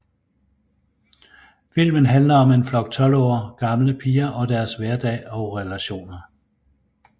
Filmen handler om en flok tolv år gamle piger og deres hverdag og relationer